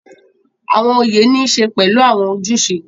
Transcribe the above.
Awọn oyé ni ń ṣe pẹlu awọn ojuse